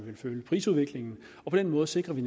følge prisudviklingen og på den måde sikrer vi